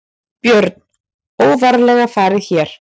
Björn: Óvarlega farið hér?